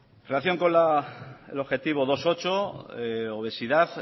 relación con el objetivo dos punto ocho obesidad